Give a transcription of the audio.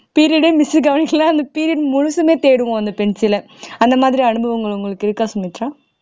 period ஏ miss கவனிக்கலனா அந்த period முழுசுமே தேடுவோம் அந்த pencil ஐ அந்த மாதிரி அனுபவங்கள் உங்களுக்கு இருக்கா சுமித்ரா